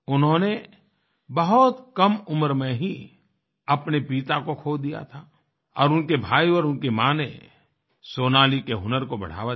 उन्होंने बहुत कम उम्र में ही अपने पिता को खो दिया और उनके भाई और उनकी माँ ने सोनाली के हुनर को बढ़ावा दिया